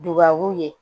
Dubabu ye